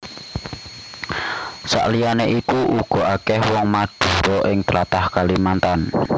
Sakliyane iku uga akèh wong Madhura ing tlatah Kalimantan